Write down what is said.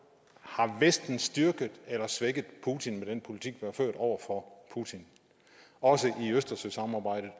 har vesten styrket eller svækket putin med den politik man har ført over for putin også i østersøsamarbejdet